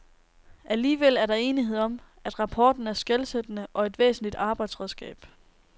Alligevel er der enighed om, at rapporten er skelsættende og et væsentligt arbejdsredskab.